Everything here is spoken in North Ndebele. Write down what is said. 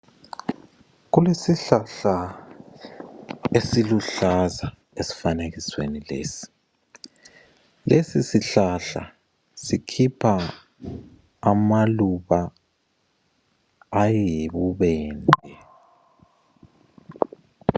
Kulesihlahla esiluhlaza esifanekisweni lesi. Lesisihlahla sikhipha amaluba ayibubende.